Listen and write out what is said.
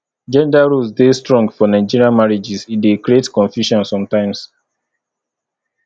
gender roles dey strong for nigerian marriages e dey create confusion sometimes